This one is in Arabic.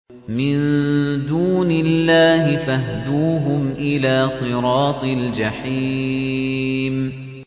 مِن دُونِ اللَّهِ فَاهْدُوهُمْ إِلَىٰ صِرَاطِ الْجَحِيمِ